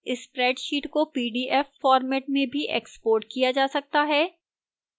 spreadsheet को pdf format में भी exported किया जा सकता है